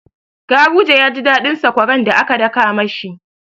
Garuje ya ji daɗin sakwaran da aka daka ma shi.